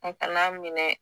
O kana minɛ